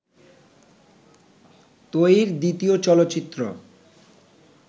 ত্রয়ীর দ্বিতীয় চলচ্চিত্র